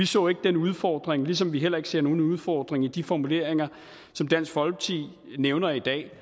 så den udfordring ligesom vi heller ikke ser nogen udfordring i de formuleringer som dansk folkeparti nævner i dag